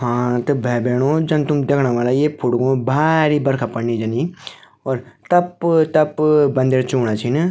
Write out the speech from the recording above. हाँ त है भाई-भेणाे जन तुम देखणा वला ये फुट्गों म भारी बरखा पड़नी जनी और टप-टप बंद चूणा छिन।